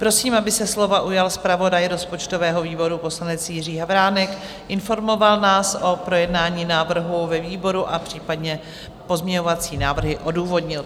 Prosím, aby se slova ujal zpravodaj rozpočtového výboru poslanec Jiří Havránek, informoval nás o projednání návrhu ve výboru a případně pozměňovací návrhy odůvodnil.